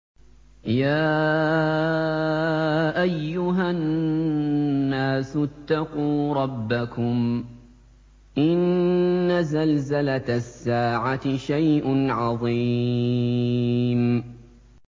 يَا أَيُّهَا النَّاسُ اتَّقُوا رَبَّكُمْ ۚ إِنَّ زَلْزَلَةَ السَّاعَةِ شَيْءٌ عَظِيمٌ